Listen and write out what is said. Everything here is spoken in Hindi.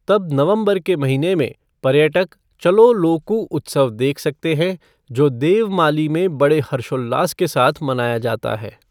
तब नवंबर के महीने में, पर्यटक चलो लोकू उत्सव देख सकते हैं, जो देवमाली में बड़े हर्षोल्लास के साथ मनाया जाता है।